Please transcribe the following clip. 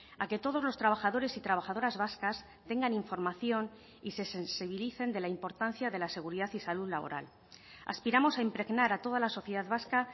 a que todos los trabajadores y trabajadoras vascas tengan información y se sensibilicen de la importancia de la seguridad y salud laboral aspiramos a impregnar a toda la sociedad vasca